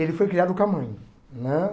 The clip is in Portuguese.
Ele foi criado com a mãe né.